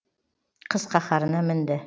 қыс қаһарына мінді